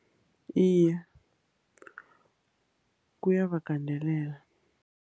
Iye, kuyawagandelela.